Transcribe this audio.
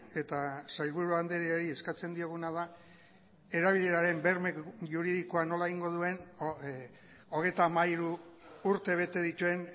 eta sailburu andreari eskatzen dioguna da erabileraren berme juridikoa nola egingo duen hogeita hamairu urte bete dituen